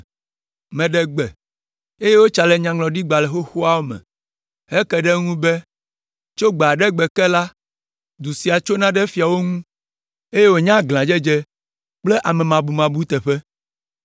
Meɖe gbe, eye wotsa le nyaŋlɔɖigbalẽ xoxoawo me heke ɖe eŋu be, tso gbe aɖe gbe ke la, du sia tsona ɖe fiawo ŋu, eye wònye aglãdzedze kple amemabumabu teƒe.